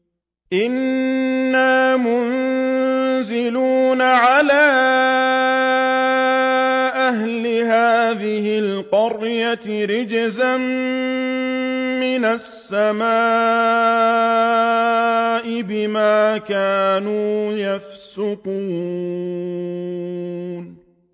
إِنَّا مُنزِلُونَ عَلَىٰ أَهْلِ هَٰذِهِ الْقَرْيَةِ رِجْزًا مِّنَ السَّمَاءِ بِمَا كَانُوا يَفْسُقُونَ